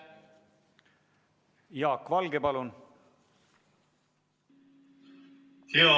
Jaak Valge, palun!